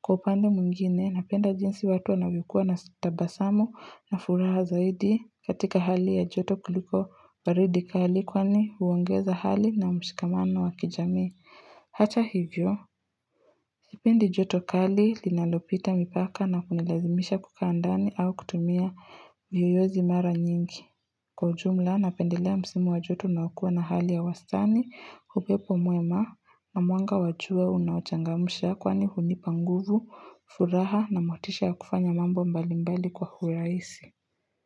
Kwa upande mungine napenda jinsi watu anawikuwa na sitabasamu na furaha zaidi katika hali ya joto kuliko baridi kahalikwani uongeza hali na mshikamana wa kijami. Hacha hivyo, sipendi joto kali linanopita mipaka na kunilazimisha kukandani au kutumia miyoyozimara nyingi. Kwa ujumla, napendelea msimu wa joto na wakua na hali ya wastani, hupepo mwema na mwanga wachua unaochangamusha kwani hunipanguvu, furaha na motisha kufanya mambo mbalimbali kwa huweaisi.